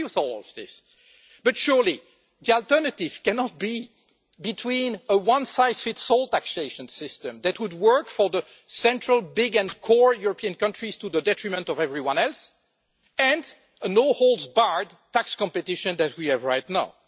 I agree with all of this, but surely the alternative cannot be between a one-size-fits-all taxation system that would work for the central big and core European countries to the detriment of everyone else and the no-holds-barred tax competition that we have right now.